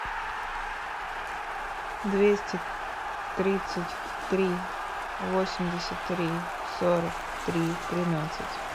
двести тридцать три восемьдесят три сорок три тринадцать